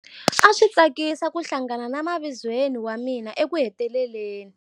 A swi tsakisa ku hlangana na mavizweni wa mina ekuheteleleni.